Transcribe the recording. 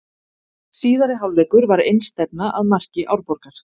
Síðari hálfleikur var einstefna að marki Árborgar.